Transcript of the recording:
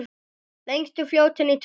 Lengstu fljótin í tölum